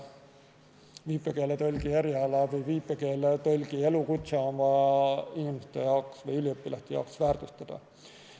Viipekeeletõlgi eriala või elukutset on vaja inimeste või üliõpilaste jaoks väärtustada.